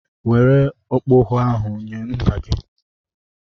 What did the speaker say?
Were okpogho ahụ nye nna gị!